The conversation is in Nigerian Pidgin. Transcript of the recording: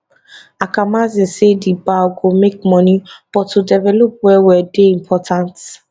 akamanzi say di bal go make money but to delevop wellwell dey important